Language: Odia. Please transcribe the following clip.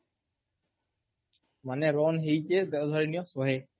ମାନେ run ହେଇଛି ଧରିନିଅ ଶହେ